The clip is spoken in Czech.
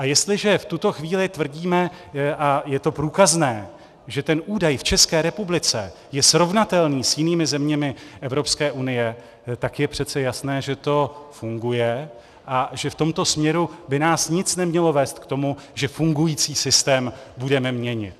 A jestliže v tuto chvíli tvrdíme, a je to průkazné, že ten údaj v České republice je srovnatelný s jinými zeměmi Evropské unie, tak je přece jasné, že to funguje a že v tomto směru by nás nic nemělo vést k tomu, že fungující systém budeme měnit.